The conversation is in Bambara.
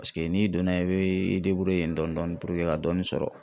Paseke n'i donna i bɛ i dɔɔnin dɔɔnin puruke ka dɔɔni sɔrɔ.